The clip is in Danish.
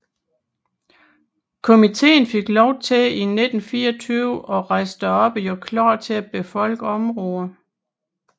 Komiteen fik lov til i 1924 at rejse derop og gøre klar til at befolke området